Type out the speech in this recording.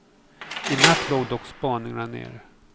I natt låg dock spaningarna nere.